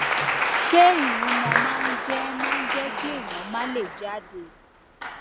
ṣé ìyúnmọ máa ń jé máa ń jé kí èèyàn má lè jáde